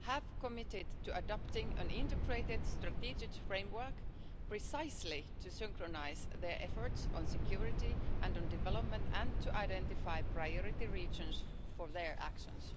have committed to adopting an integrated, strategic framework precisely to synchronise their efforts on security and on development and to identify priority regions for their actions.